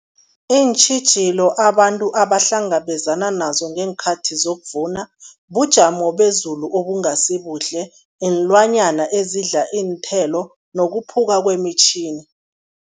Iintjhijilo abantu abahlangabezana nazo ngeenkhathi zokuvuna, bujamo bezulu obungasi buhle, iinlwanyana ezidla iinthelo nokuphuka kwemitjhini.